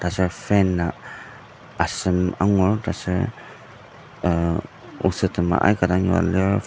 taser fan a asem angur taser uh osettema aika dang yua lir.